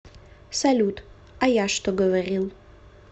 салют а я что говорил